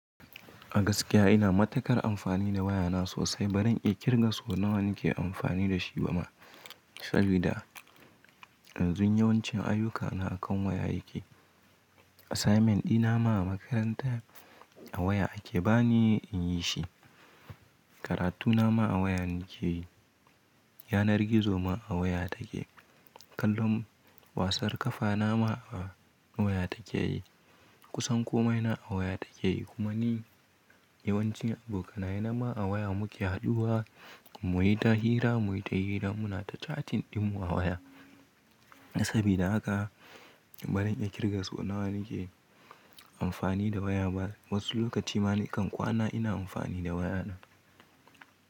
A gaskiya ina matuƙar amfani da waya na sosai, bari in ƙirga so nawa nake amfani da shi ba ma. Sabida yanzu yawancin ayyukana akan waya yake. Assignment dina ma a makaranta a waya ake bani in yi shi. Karatu na ma a waya nake yi. Yanar gizo ma a waya take. Kallon wasar ƙafa na ma a waya take yi. Kusan komai na a waya take yi. Kuma ni yawancin abokanaye na ma a waya muke haɗuwa. Mu yi ta hira, mu yi ta hira muna ta catin ɗin mu a waya. Sabida haka bari in ƙirga so nawa nake amfani da waya ba. Wasu lokuta ma nakan kwana ina amfani da waya na.